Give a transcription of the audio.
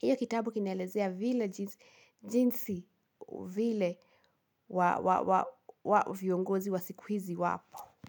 Iyo kitabu kinaelezea vile jinsi vile viongozi wa siku hizi wapo.